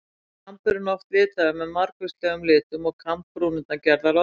Þá var kamburinn oft litaður með margvíslegum litum og kambbrúnirnar gerðar oddhvassar.